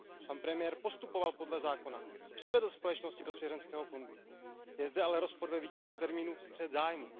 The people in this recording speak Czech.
Pan premiér postupoval podle zákona, převedl společnosti do svěřenského fondu. Je zde ale rozpor ve výkladu pojmu střet zájmů.